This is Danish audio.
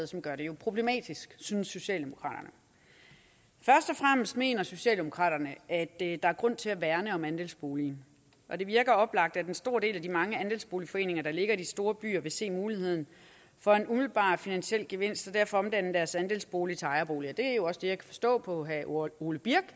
som gør det problematisk synes socialdemokraterne først og fremmest mener socialdemokraterne at der er grund til at værne om andelsboligen og det virker oplagt at en stor del af de mange andelsboligforeninger der ligger i de store byer vil se muligheden for en umiddelbar finansiel gevinst og derfor vil omdanne deres andelsbolig til ejerboliger det er jo også det jeg forstå på herre ole birk